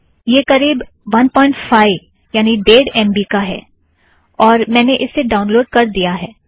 यह करीब 15एमबी ड़ेड़ एम बी का है और मैंने इसे ड़ाउनलोड़ कर दिया है